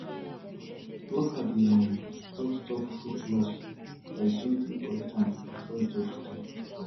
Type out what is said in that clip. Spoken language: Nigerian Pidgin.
plucker dey um help stop fruit loss by gently collect am before e touch ground